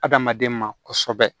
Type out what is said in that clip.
Adamaden ma kosɛbɛ